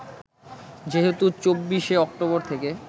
যেহেতু ২৪ শে অক্টোবর থেকে